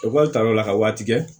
Ekɔli taraw la ka waati kɛ